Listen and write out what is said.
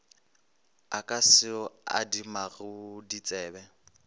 a ka se adimago ditsebe